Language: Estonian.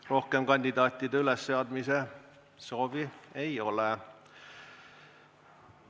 Rohkem kandidaatide ülesseadmise soovi ei ole.